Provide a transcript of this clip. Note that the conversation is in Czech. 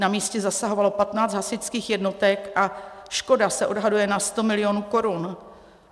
Na místě zasahovalo 15 hasičských jednotek a škoda se odhaduje na 100 milionů korun.